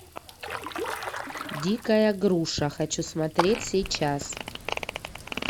дикая груша хочу смотреть сейчас